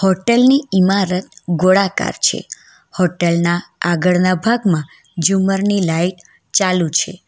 Hotel ની ઇમારત ગોળાકાર છે હોટલ ના આગળના ભાગમાં જુમર ની લાઈટ ચાલુ છે.